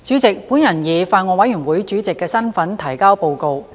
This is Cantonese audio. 主席，我以法案委員會主席的身份提交報告。